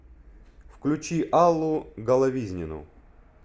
включи аллу головизнину